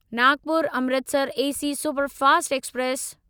Nagpur Amritsar AC superfast express